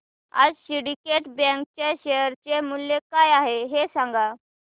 आज syndicate bank च्या share चे मूल्य काय आहे हे सांगा